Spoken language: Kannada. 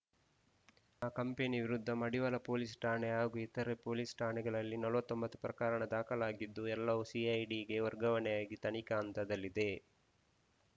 ಆ ಕಂಪನಿ ವಿರುದ್ಧ ಮಡಿವಾಳ ಪೊಲೀಸ್‌ ಠಾಣೆ ಹಾಗೂ ಇತರೆ ಪೊಲೀಸ್‌ ಠಾಣೆಗಳಲ್ಲಿ ನಲವತ್ತ್ ಒಂಬತ್ತು ಪ್ರಕರಣ ದಾಖಲಾಗಿದ್ದು ಎಲ್ಲವು ಸಿಐಡಿಗೆ ವರ್ಗಾವಣೆಯಾಗಿ ತನಿಖಾ ಹಂತದಲ್ಲಿದೆ